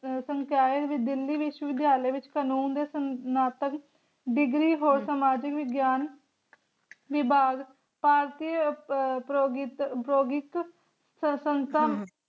ਸੰਕਾਯ ਦਿੱਲੀ ਵਿਸ਼ਵਵਿਦਿਆਲ੍ਯ ਵਿਚ ਕਨੂੰਨ ਦੇ ਸਨਾਤਕ degree ਹੋਰ ਸਮਾਜਿਕ ਵਿਗਿਆਨ ਵਿਭਾਗ ਪ੍ਰਯੋਗਿਕ